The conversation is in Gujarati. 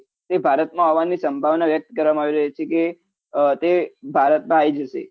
એ ભારતમા આવાની સંભાવના વ્યક્ત કરવામાં આવી રહી છે કે તે ભારતમાં આયી જશે